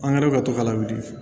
An kɛra ka to ka lawuli